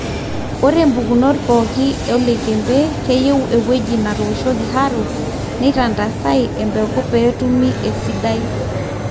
ore mpukunot pooki e oloikembe keyieu ewueji natooshoki harrow, neitandasai embeku peetumi esidai